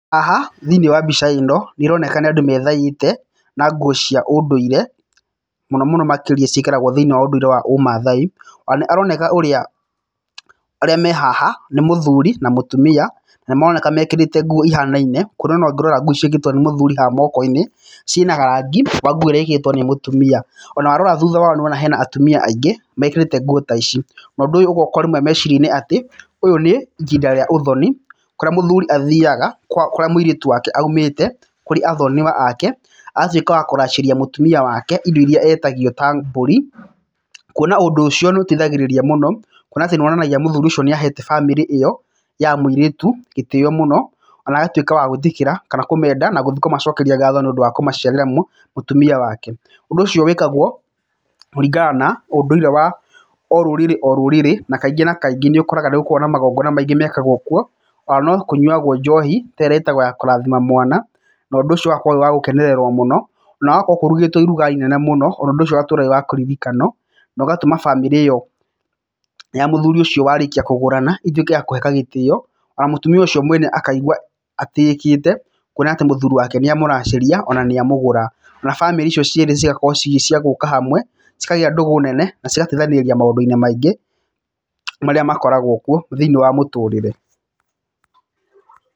Haha thĩiniĩ wa mbica ĩno nĩ ĩroneka nĩ andũ methaĩte na nguo cia ũndũire mũno mũno makĩria ciĩkĩragwo thĩiniĩ wa ũndũire wa ũmaathai, ona nĩ aroneka ũrĩa arĩa mehaha nĩ mũthuri na mũtumia na maroneka mekĩrĩte nguo ihanaine kwona ona ũngĩrora nguo ciĩkĩrĩtwo nĩ mũthuri haha moko-inĩ ciĩna rangi wa nguo ĩrĩa ĩkĩrĩtwo nĩ mũtumia. Ona warora warora thutha wao nĩ ũrona hena atumia aingĩ mekĩrĩte nguo ta ici, na ũndũ ũyũ ũgoka orĩmwe meciria-inĩ atĩ ũyũ nĩ ihinda rĩa ũthoni, kũrĩa mũthuri athiaga kwa kurĩa mũirĩtũ wake aũmĩte, kũrĩ athoniwa ake ,agatĩka wa kũracĩria mũtumia wake indo iria etagio ta mbũri, kuona ũndũ ũcio nĩ ũteithagĩrĩria mũno, kuona atĩ nĩ wonanagia atĩ mũthuri ũcio nĩ ahete bamĩrĩ ĩyo ya mũirĩtũ gĩtĩo mũno ona agatwĩka wa gwĩtĩkĩra kũmenda na gũthiĩ kũmacokeria ngatho nĩ ũndũ wa kũmaciarĩra mw mũtumia wake. Ũndũ ũcio wĩkagwo kũringana na ũndũire wa orũrĩrĩ orũrĩrĩ, na kaingĩ na kaingĩ nĩ ũkoraga nĩ gũkoragwo na magongona maingĩ mekagwo kũo ona no kũnyuagwo njohi ta ĩrĩa ĩtagwo ya kũrathima mwana, na ũndũ ũcio ũgakorwo wĩ wa gũkenererwo, na gũgakorwo kũrugĩtwo iruga inene mũno ona ũndũ ucio ũgatũra wĩ wa kũririkanwo, na ũgatũma bamĩrĩ ĩyo ya mũthuri ũcio warĩkia kũgũrana ĩtwike ya kũheka gĩtio, ona mũtumia ũcio mwena akaigua atĩĩkĩte kuona atĩ mũthuri wake nĩ amũracĩria ona nĩ amũgũra. Na bamĩrĩ icio cierĩ cigakorwo cĩ cia gũka hamwe, cikagĩa ndũgũ nene na cigateithanĩrĩria maũndũ-inĩ maingĩ maria makoragwo kuo thĩiniĩ wa mũtũrĩre.